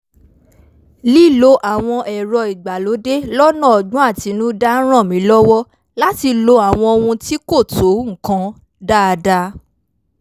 lílo àwọn ẹ̀rọ ìgbàlódé lọ́nà ọ́gbọ́n àtinúdá ń ràn mí lọ́wọ́ láti lo àwọn ohun tí kò tó nǹkan dáadáa